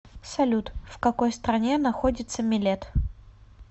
салют в какой стране находится милет